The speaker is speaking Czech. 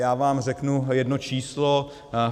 Já vám řeknu jedno číslo.